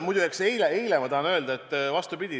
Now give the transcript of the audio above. Muide, ma tahan öelda, et eile oli vastupidi.